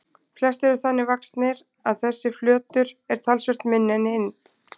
Flestir eru þannig vaxnir að þessi flötur er talsvert minni en hinn.